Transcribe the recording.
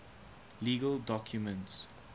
legal documents